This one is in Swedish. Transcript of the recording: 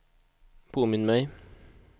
påminn mig